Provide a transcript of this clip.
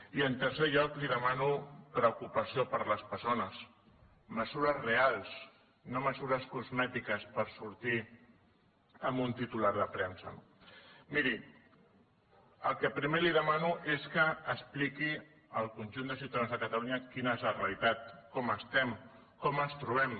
i en tercer lloc li demano preocupació per les persones mesures reals no mesures cosmètiques per sortir en un titular de premsa no miri el que primer li demano és que expliqui al conjunt de ciutadans de catalunya quina és la realitat com estem com ens trobem